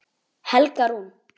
Helga Rún.